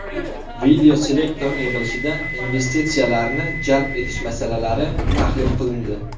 Videoselektor yig‘ilishida investitsiyalarni jalb etish masalalari tahlil qilindi.